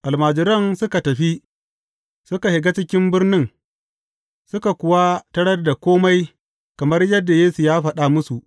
Almajiran suka tafi, suka shiga cikin birnin, suka kuwa tarar da kome kamar yadda Yesu ya faɗa musu.